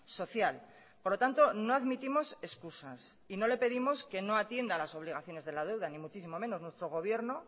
social por lo tanto no admitimos excusas y no le pedimos que no atienda a las obligaciones de la deuda ni muchísimo menos nuestro gobierno